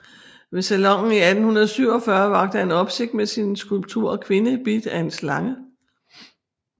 Ved Salonen i 1847 vakte han opsigt med sin skulptur Kvinde Bidt af en Slange